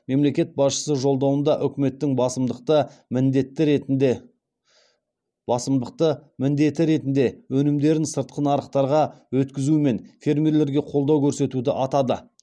мемлекет басшысы жолдауында үкіметтің басымдықты міндеті ретінде өнімдерін сыртқы нарықтарға өткізумен фермелерге қолдау көрсетуді атады